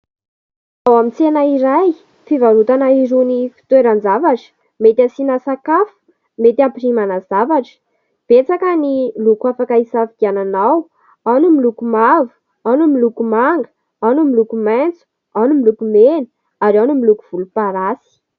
Ao amin'ny tsena iray fivarotana ireny fitoeran-javatra mety hasiana sakafo, mety hampirimana zavatra. Betsaka ny loko afaka hisafidianana ao : ao ny miloko mavo, ao ny miloko manga, ao ny miloko maitso, ao ny miloko mena, ary ao ny miloko volomparasy.